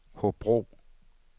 Hobro